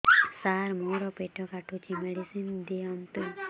ସାର ମୋର ପେଟ କାଟୁଚି ମେଡିସିନ ଦିଆଉନ୍ତୁ